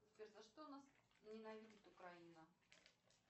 сбер за что нас ненавидит украина